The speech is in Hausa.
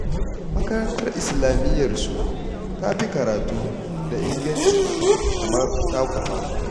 Makarantar islamiyyarsu ta fi karatu da inganci kamar taku fa